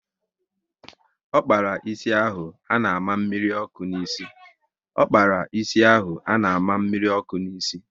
Ọ kpara ịsị ahụ a na àmà mmiri ọkụ n'isi